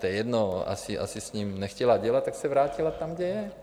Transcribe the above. To je jedno, asi s ním nechtěla dělat, tak se vrátila tam, kde je -